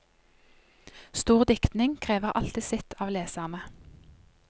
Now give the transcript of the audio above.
Stor dikting krever alltid sitt av leserne.